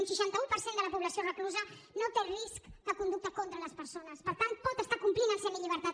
un seixanta un per cent de la població reclusa no té risc de conducta contra les persones per tant pot estar complint en semillibertat